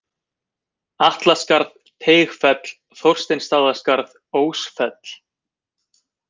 Atlaskarð, Teigfell, Þorsteinsstaðaskarð, Ósfell